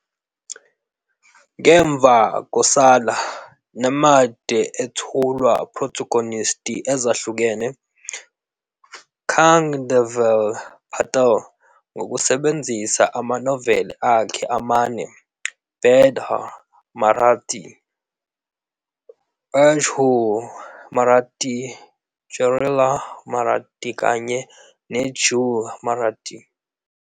Ngemva "Kosala," Nemade ethulwa protagonist ezahlukene, Changadev Patil, ngokusebenzisa amanoveli akhe amane "Bidhar", Marathi, H"ool", Marathi, "Jarila", Marathi kanye "neJhool", Marathi.